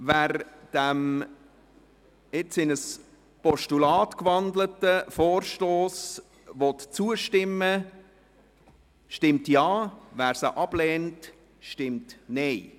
– Wer dem Vorstoss als Postulat zustimmen will, stimmt Ja, wer dies ablehnt, stimmt Nein.